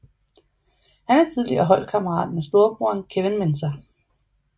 Han er tidligere holdkammerat med storebroren Kevin Mensah